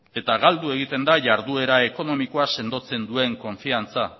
eta galdu egiten da jarduera ekonomikoa sendotzen duen konfiantza